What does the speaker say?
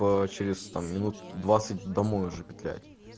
по через там минут двадцать домой уже петлять